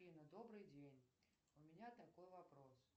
афина добрый день у меня такой вопрос